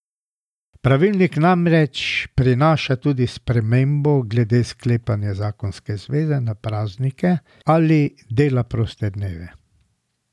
Pravilnik namreč prinaša tudi spremembo glede sklepanja zakonske zveze na praznike ali dela proste dneve.